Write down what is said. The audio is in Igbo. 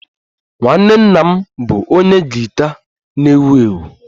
Nwanne nna m bụ onye gita na-ewu ewu